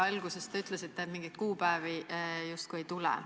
Alguses te ju ütlesite, et mingeid kuupäevi justkui ei tule.